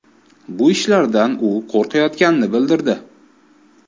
Bu ishlardan u qo‘rqayotganini bildirdi.